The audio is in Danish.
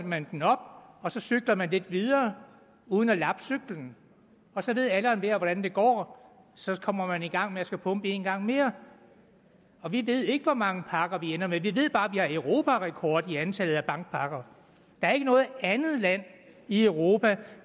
man den op og så cykler man lidt videre uden at lappe cyklen og så ved alle og enhver hvordan det går så kommer man i gang med at skulle pumpe en gang mere og vi ved ikke hvor mange pakker vi ender med vi ved bare at har europarekord i antallet af bankpakker der er ikke noget andet land i europa der